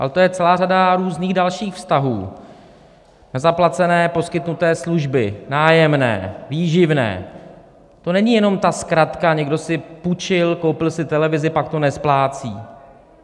Ale to je celá řada různých dalších vztahů, nezaplacené poskytnuté služby, nájemné, výživné, to není jenom ta zkratka - někdo si půjčil, koupil si televizi, pak to nesplácí.